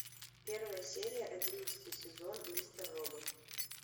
первая серия одиннадцатый сезон мистер робот